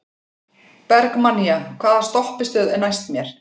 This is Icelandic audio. Bergmannía, hvaða stoppistöð er næst mér?